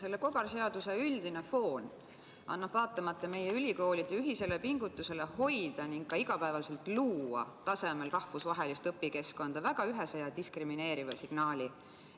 Selle kobarseaduse üldine foon annab, vaatamata meie ülikoolide ühisele pingutusele hoida ning ka iga päev luua tasemel rahvusvahelist õpikeskkonda, väga ühese ja diskrimineeriva signaali.